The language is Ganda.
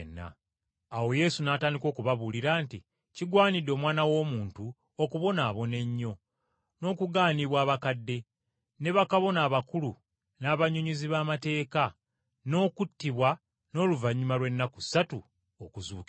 Awo Yesu n’atandika okubabuulira nti, “Kigwanidde Omwana w’Omuntu okubonaabona ennyo, n’okugaanibwa abakadde, ne bakabona abakulu n’abannyonnyozi b’amateeka, n’okuttibwa, n’oluvannyuma lw’ennaku ssatu okuzuukira.”